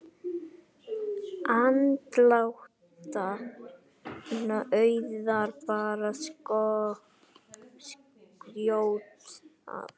Andlát Auðar bar skjótt að.